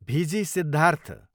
भिजी सिद्धार्थ